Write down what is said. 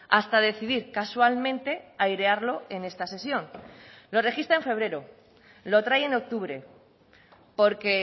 hasta decidir casualmente airearlo en esta sesión lo registra en febrero lo trae en octubre porque